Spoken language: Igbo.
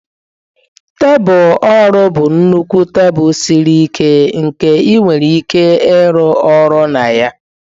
Tebụl ọrụ bụ nnukwu tebụl siri ike nke ị nwere ike ịrụ ọrụ na ya.